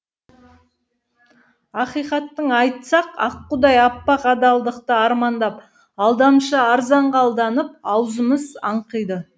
ақиқатын айтсақ аққудай аппақ адалдықты армандап алдамшы арзанға алданып аузымыз аңқиды